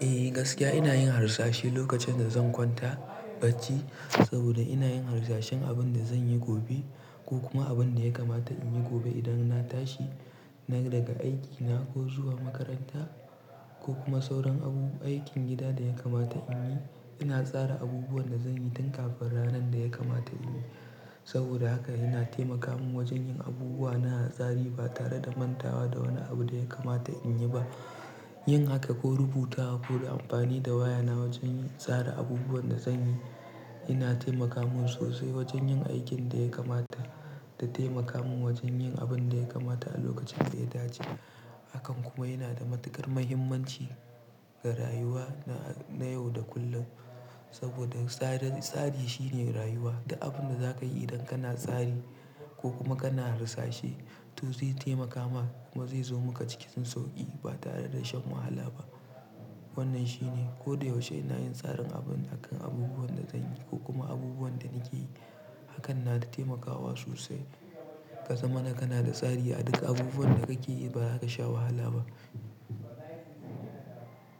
Eh gaskiya ina yin harsashi lokacin da zan kwanta bacci saboda ina yin harsashen abin da zan yi gobe ko kuma abin da ya kamata in yi gobe idan na tashi na daga aikina ko zuwa makaranta ko kuma sauran abu, aikin gida da ya kamata in yi. Ina tsara abubuwan da zan yi tun kafin ranar da ya kamata in yi. Saboda haka yana taimaka min wajen yin abubuwa na da tsari ba tare da mantawa da wani abu da ya kamata in yi ba. Yin haka ko rubuta ko da amfani da wayana wajen tsara abubuwan da zan yi, yana taimaka min sosai wajen yin aikin da ya kamata da taimaka min wajen yin abin da ya kamata a lokacin da ya dace. Hakan kuma yana da matukar muhimmanci ga rayuwa na yau da kullum saboda tsarin tsari shine rayuwa da abin da za ka yi idan kana tsari ko kuma kana harsashe to zai taimaka maka kuma zai zo maka cikin sauƙi ba tare da shan wahala ba. Wannan shine ko da yaushe ina yin tsarin abin akan abubuwan da zan yi ko kuma abubuwan da nake yi. Hakan na da taimakawa sosai. Ka san ana kana da tsari a duk abubuwan da kake yi ba ka sha wahala ba.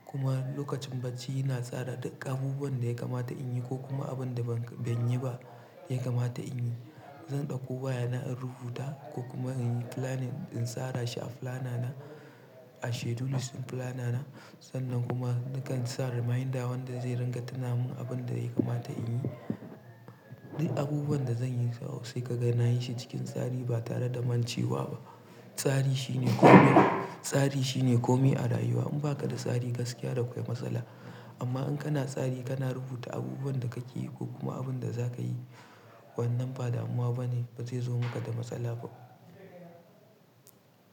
Kuma lokacin bacci ina tsara duk abubuwan da ya kamata in yi ko kuma abin da ban, ban yi ba ya kamata in yi. Zan ɗauko wayana in rubuta ko kuma in yi planning in tsara shi a planner na a schedules ɗin flana na sannan kuma nakan tsara mahinda wanda zai ranga tuna min abin da ya kamata in yi. Duk abubuwan da zan yi sosai ka ga na yin shi cikin tsari ba tare da mancewa ba. Tsari shine kome, tsari shine kome a rayuwa. In ba ka da tsari gaskiya da kwai matsala amma in kana tsari kana rubuta abubuwan da kake yi ko kuma abin da za ka yi wannan ba damuwa bane ba zai zo maka da matsala ba.